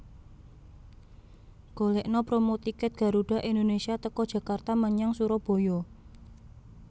Golekno promo tiket Garuda Indonesia teko Jakarta menyang Suroboyo